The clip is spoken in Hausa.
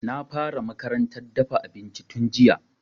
Na fara makarantar dafa abinci tun jiya